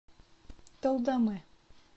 талдоме